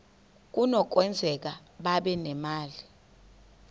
kunokwenzeka babe nemali